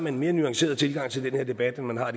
en mere nuanceret tilgang til den her debat end man har